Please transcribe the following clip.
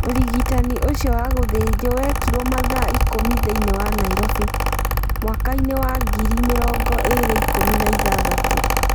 Ũrigitani ũcio wagũthinjuo wekirũo mathaa ikũmi thĩinĩ wa Nairovi, mwaka-inĩ wa ngiri mĩrongo ĩĩrĩ ikũmi na ĩthathatũ.